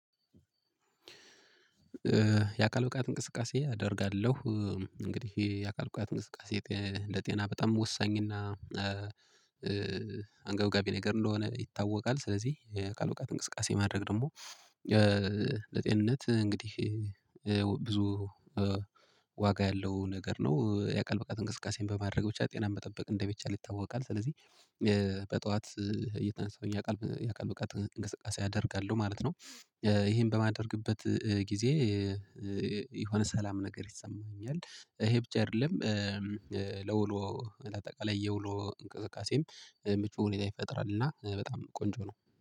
የአካል ብቃት እንቅስቃሴ አደርጋለሁ። እንግዲህ የአካል ብቃት እንቅስቃሴ ለጤና በጣም ወሳኝና አንገብጋቢ ነገር እንደሆነ ይታወቃል። ስለዚህ የአካል ብቃት እንቅስቃሴ ማድረግ ደግሞ ለጤንነት እንግዲህ ብዙ ያለው ነገር ነው። የአካል ብቃት እንቅስቃሴን በማድረግ ብቻ ጤናን መጠበቅ እንደሚቻል ይታወቃል። ስለዚህ በጧት እየተነሳሁኝ ያካል ያካል ብቃት እንቅስቃሴ አደርጋለሁ ማለት ነው። ይሄን በማደርግበት ጊዜ የሆነ ሰላም ነገር ይሰማኛል ይሄ ብቻ አይደለም። ለውሎ ለአጠቃላይ የውሎ እንቅስቃሴም ምቹ ሁኔታ ይፈጥራል ና በጣም ቆንጆ ነው